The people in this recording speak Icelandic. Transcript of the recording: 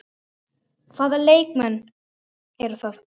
Hvaða leikmenn eru það?